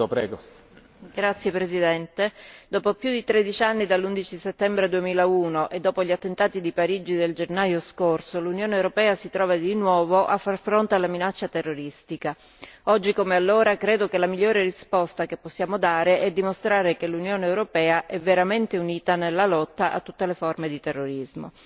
Signor Presidente, onorevoli colleghi, dopo più di tredici anni dall'11 settembre 2001 e dopo gli attentati di Parigi del gennaio scorso, l'Unione europea si trova di nuovo a far fronte alla minaccia terroristica. Oggi come allora credo che la migliore risposta che possiamo dare è dimostrare che l'Unione europea è veramente unita nella lotta a tutte le forme di terrorismo.